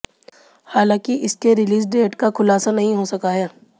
हालांकि इसके release date का खुलासा नहीं हो सका है